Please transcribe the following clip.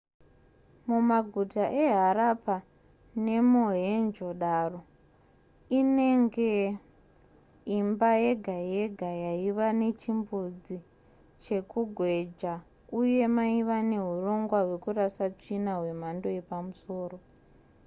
mumaguta eharappa nemohenjo-daro inenge imba yega yega yaiva nechimbuzi chekugweja uye maiva neurongwa hwekurasa tsvina hwemhando yepamusoro